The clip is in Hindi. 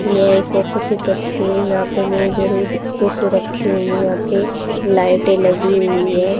ये एक ऑफिस की तस्वीर है यहां पे मेज और कुर्सी रखी हुई हैं यहां पे लाइटें लगी हुई हैं।